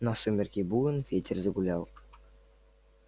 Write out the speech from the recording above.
на сумерки буен ветер загулял